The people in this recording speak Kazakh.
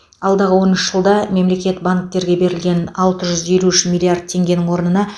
алдағы он үш жылда мемлекет банктерге берілген алты жүз елу үш миллиард теңгенің орнына